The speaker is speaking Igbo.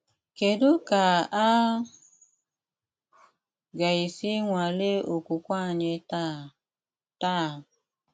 Kédú kà á gà-ésí nwàlè ókwùkwé ányị́ táá? táá?